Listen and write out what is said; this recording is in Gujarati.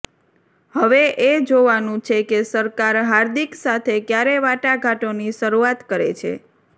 હવે એ જોવાનું છે કે સરકાર હાર્દિક સાથે ક્યારે વાટાઘાટોની શરૂઆત કરે છે